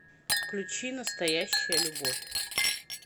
включи настоящая любовь